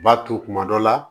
U b'a to kuma dɔ la